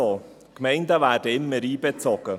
Die Gemeinden werden immer einbezogen.